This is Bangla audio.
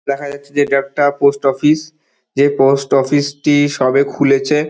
দেখা যাচ্ছে যে এইটা পোস্টঅফিস । যে পোস্টঅফিসটি সবে খুলছে।